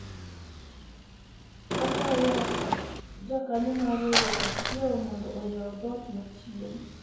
akwayo jakanyo mar riwruok achiel mondo oyaw dhot machien